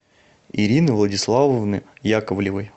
ирины владиславовны яковлевой